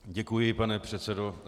Děkuji, pane předsedo.